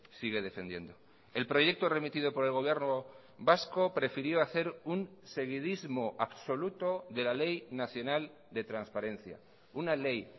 sigue defendiendo el proyecto remitido por el gobierno vasco prefirió hacer un seguidismo absoluto de la ley nacional de transparencia una ley